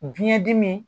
Biyɛn dimi